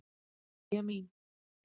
Mæja mín!